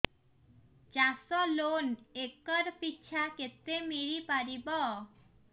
ଚାଷ loan acre ପିଛା କେତେ ମିଳି ପାରିବ